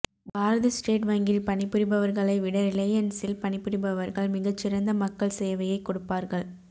பாரத state வங்கியில் பணிபுரிபவர்களை விட ரிலையன்ஸில் பணிபுரிபவர்கள் மிகச் சிறந்த மக்கள் சேவையைக் கொடுப்பார்கள்